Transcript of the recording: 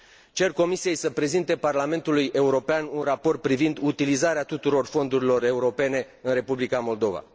Cer Comisiei să prezinte Parlamentului European un raport privind utilizarea tuturor fondurilor europene în Republica Moldova.